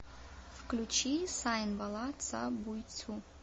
включи сайн бала ца буьйцу